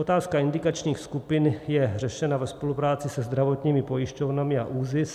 Otázka indikačních skupin je řešena ve spolupráci se zdravotními pojišťovnami a ÚZIS.